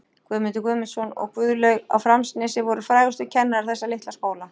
Guðmundur Guðmundsson og Guðlaug á Framnesi voru frægustu kennarar þessa litla skóla.